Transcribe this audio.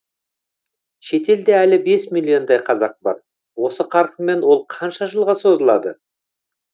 шетелде әлі бес миллиондай қазақ бар осы қарқынмен ол қанша жылға созылады